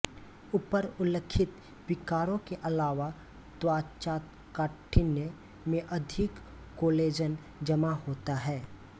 ऊपर उल्लिखित विकारों के अलावा त्वचाकाठिन्य में अधिक कोलेजन जमा होता है